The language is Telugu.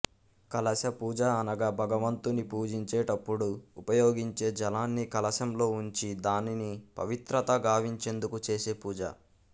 కలశ పూజ అనగా భగవంతుని పూజించే టప్పుడు ఉపయోగించే జలాన్ని కలశంలో ఉంచి దానిని పవిత్రత గావించేందుకు చేసే పూజ